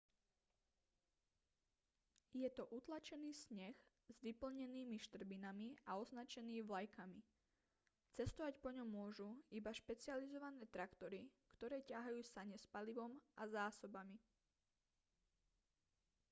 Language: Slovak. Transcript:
je to utlačený sneh s vyplnenými štrbinami a označený vlajkami cestovať po ňom môžu iba špecializované traktory ktoré ťahajú sane s palivom a zásobami